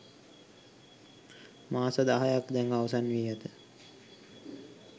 මාස දහයක් දැන් අවසන් වී ඇත.